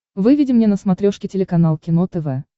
выведи мне на смотрешке телеканал кино тв